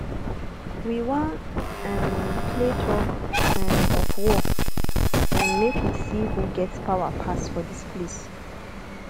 we wan um play tug um of war um make we see who get power pass for dis place